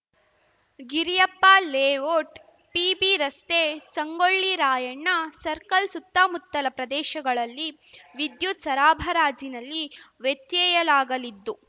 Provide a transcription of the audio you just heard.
Giriyappa layout P B ರಸ್ತೆ ಸಂಗೊಳ್ಳಿ ರಾಯಣ್ಣ ಸರ್ಕಲ್‌ಸುತ್ತಮುತ್ತಲ ಪ್ರದೇಶಗಳಲ್ಲಿ ವಿದ್ಯುತ್‌ ಸರಾಬರಾಜಿನಲ್ಲಿ ವ್ಯತ್ಯಯಲಾಗಲಿದ್ದು